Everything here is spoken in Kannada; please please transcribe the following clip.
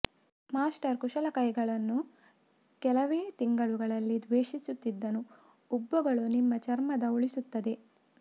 ಮಾಸ್ಟರ್ ಕುಶಲ ಕೈಗಳನ್ನು ಕೆಲವೇ ತಿಂಗಳುಗಳಲ್ಲಿ ದ್ವೇಷಿಸುತ್ತಿದ್ದನು ಉಬ್ಬುಗಳು ನಿಮ್ಮ ಚರ್ಮದ ಉಳಿಸುತ್ತದೆ